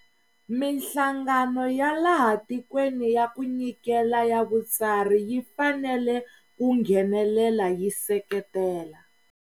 Mihlangano ya laha tikweni ya ku nyikela ya vutsari yi fanele ku nghenelela yi seketela.